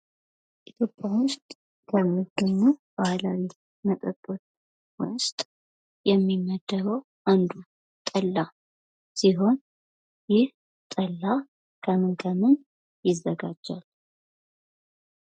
ኢትዮጵያ ውስጥ ከሚገኙ ባህላዊ መጠጦች ውስጥ የሚመደበው አንዱ ጠላ ሲሆን ይህ ጠላ ከምን ከምን ይዘጋጃል?